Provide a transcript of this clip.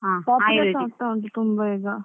Popular ಆಗ್ತಾ ಉಂಟು ತುಂಬಾ ಈಗ.